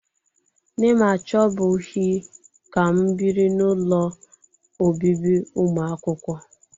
Nne m achọbughị ka m biri n'ụlọ obibi ụmụakwụkwọ